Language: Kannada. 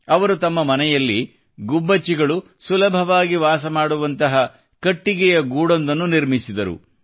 ಅವರು ತಮ್ಮ ಮನೆಯಲ್ಲಿ ಗುಬ್ಬಚ್ಚಿಗಳು ಸುಲಭವಾಗಿ ವಾಸ ಮಾಡುವಂತಹ ಕಟ್ಟಿಗೆಯ ಗೂಡೊಂದನ್ನು ನಿರ್ಮಿಸಿದರು